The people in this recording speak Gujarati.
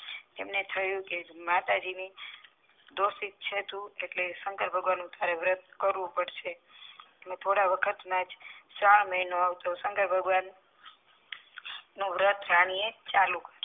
તેમને થયું કે માતાજી ની દોષિ છે તું એટલે શંકર ભગવાન નું વર્ત કરવું પડશે હું થોડા વખત માં જ શ્રવણ મહિનો આવશે શંકર ભગવાન નું વર્ત રાની એ ચાલુ